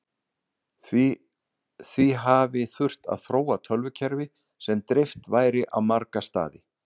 Því hafi þurft að þróa tölvukerfi sem dreift væri á marga staði.